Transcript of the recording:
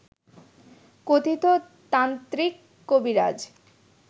কথিত তান্ত্রিক কবিরাজ